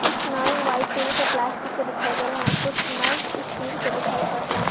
कुछ नल white colour के प्लास्टिक के दिखाई दे रहे हैं और कुछ नल स्टील के दिखाई पड़ रहे हैं।